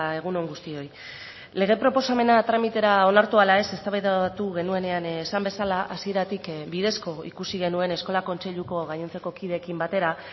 egun on guztioi lege proposamena tramitera onartu ala ez eztabaidatu genuenean esan bezala hasieratik bidezko ikusi genuen eskola kontseiluko gainontzeko kideekin batera